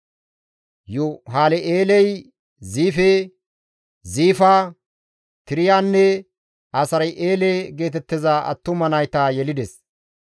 Yuhalel7eeley Ziife, Ziifa, Tiriyanne Asar7eele geetettiza attuma nayta yelides.